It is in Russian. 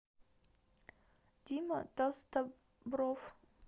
дима толстобров